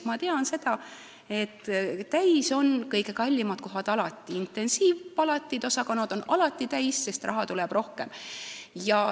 Ma tean, et alati on täis kõige kallimad kohad, intensiivpalatid ja -osakonnad on alati täis, sest raha tuleb sinna rohkem.